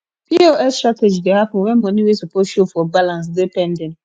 pos shortage de happen when money wey suppose show for balance de pending